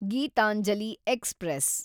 Geetanjali express